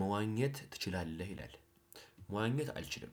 መዋኘት ትችላለህ ይላል። መዋኘት አልችልም።